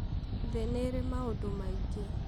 thĩ nĩĩrĩ maũndũ maingĩ